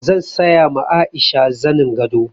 Zan saya ma Aisha zanin gado.